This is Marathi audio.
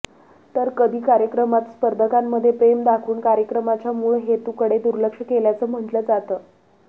तर कधी कार्यक्रमात स्पर्धकांमध्ये प्रेम दाखवून कार्यक्रमाच्या मूळ हेतूकडे दुर्लक्ष केल्याचं म्हटलं जातं